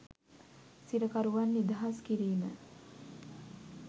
සිරකරුවන් නිදහස් කිරීම